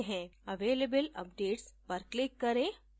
available updates पर click करें